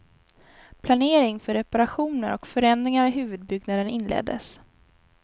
Planering för reparationer och förändringar i huvudbyggnaden inleddes.